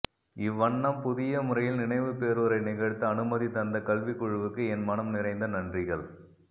இவ்வண்ணம் புதிய முறையில் நினைவுப்பேருரை நிகழ்த்த அனுமதி தந்த கல்விக்குழுவுக்கு என் மனம் நிறைந்த நன்றிகள்